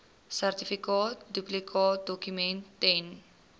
sertifikaat duplikaatdokument ten